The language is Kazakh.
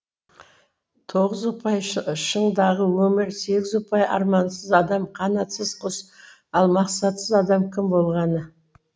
тоғыз ұпай шыңдағы өмір сегіз ұпай армансыз адам қанатсыз құс ал мақсатсыз адам кім болғаны